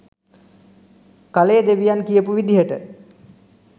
කලේ දෙවියන් කියපු විදිහට.